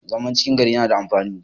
zaman cikin gari yana da amfani